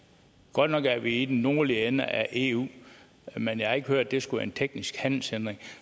godt nok er vi i den nordlige ende af eu men jeg har ikke hørt at det skulle være en teknisk handelshindring